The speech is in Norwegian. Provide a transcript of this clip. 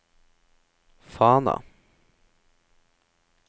Fana